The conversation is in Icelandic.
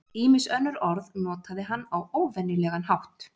ýmis önnur orð notaði hann á óvenjulegan hátt